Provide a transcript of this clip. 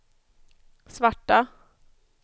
svarta